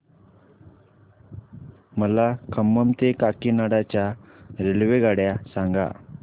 मला खम्मम ते काकीनाडा च्या रेल्वेगाड्या सांगा